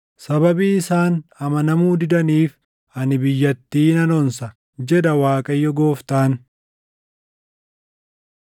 Sababii isaan amanamuu didaniif ani biyyattii nan onsa, jedha Waaqayyo Gooftaan.”